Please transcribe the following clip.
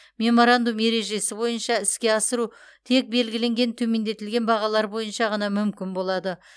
меморандум ережесі бойынша іске асыру тек белгіленген төмендетілген бағалар бойынша ғана мүмкін болады